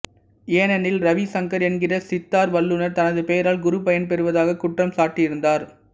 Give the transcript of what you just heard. ஏனெனில் ரவி சங்கர் என்கிற சித்தார் வல்லுநர் தனது பெயரால் குரு பயன் பெறுவதாக குற்றம் சாட்டியிருந்தார்